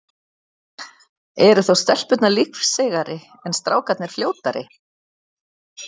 Eru þá stelpurnar lífseigari, en strákarnir fljótari?